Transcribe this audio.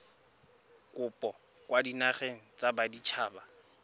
kopo kwa dinageng tsa baditshaba